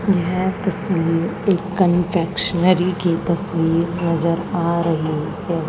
यह तस्वीर एक कन्फेक्शनरी की तस्वीर नजर आ रही है।